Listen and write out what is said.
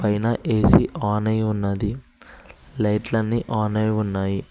పైన A C on అయి ఉన్నది లైట్లన్నీ ఆన్ అయి ఉన్నాయి.